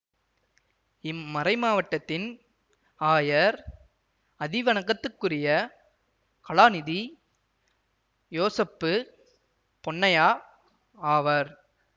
இம்மறைமாவட்டத்தின் ஆயர் அதிவணக்கத்துக்குரிய கலாநிதி யோசப்பு பொன்னையா ஆவர்